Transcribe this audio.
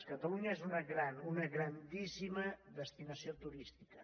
catalunya és una gran una grandíssima destinació turística